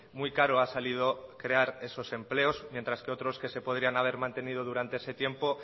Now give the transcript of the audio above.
muy caro ha salido crear esos empleos mientras que otros que se podían haber mantenido durante ese tiempo